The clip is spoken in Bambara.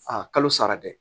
A kalo sara dɛ